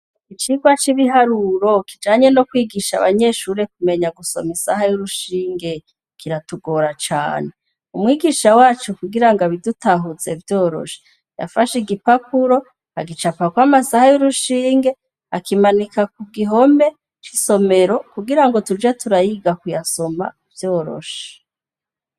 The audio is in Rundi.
Icigwa cibiharuro kijanye no kwigisha abanyeshure gusoma isaha yurushinge kiratugora cane umwigisha wacu kugira abidutahuze vyoroshe yafashe igipapuro agicapako amasaha yurushinge akimanika ku gihome cisomero kugirango tuje turayiga kuyasoma vyoroshe.